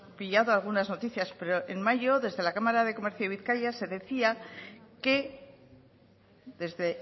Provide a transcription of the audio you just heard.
pillado algunas noticias pero en mayo desde la cámara de comercio de bizkaia se decía que desde